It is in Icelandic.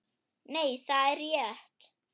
Nei, það er rétt.